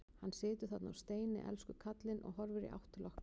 Hann situr þarna á steini, elsku kallinn, og horfir í átt til okkar.